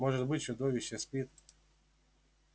может быть чудовище спит